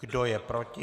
Kdo je proti?